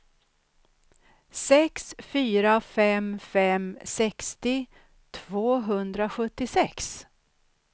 sex fyra fem fem sextio tvåhundrasjuttiosex